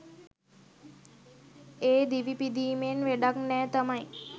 ඒ දිවි පිදීමෙන් වැඩක් නෑ තමයි.